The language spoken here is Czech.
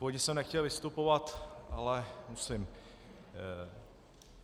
Původně jsem nechtěl vystupovat, ale musím.